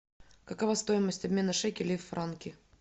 какова стоимость обмена шекелей в франки